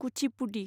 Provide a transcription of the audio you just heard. Kuchipudi